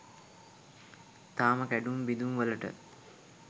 තාම කැඩුම් බිදුම් වලට